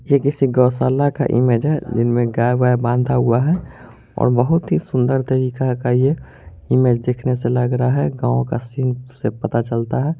ये किसी गौशाला का इमेज है इनमे जिनमें गाय वाय बांधा हुआ है और बहुत ही संदर तरीका का ये इमेज देखने से लग रहा है गांव का सीन से पता चलता है।